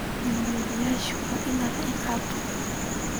Dembiilayaashu waa inaan la ciqaabin.